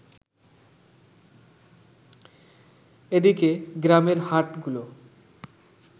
এদিকে, গ্রামের হাটগুলো